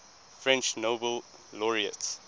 french nobel laureates